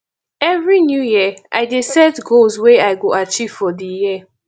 every new year i dey set goals wey i go achieve for di year